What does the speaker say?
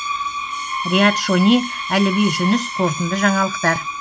риат шони әліби жүніс қорытынды жаңалықтар